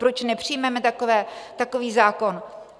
Proč nepřijmeme takový zákon?